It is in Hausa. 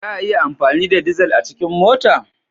Za a iya amfani da dizal a cikin mota?